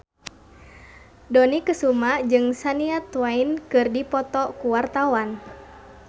Dony Kesuma jeung Shania Twain keur dipoto ku wartawan